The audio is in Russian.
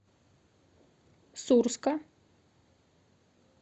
сурска